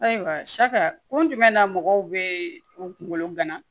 Ayiwa kun jumɛn na mɔgɔw bɛ u kungolo gana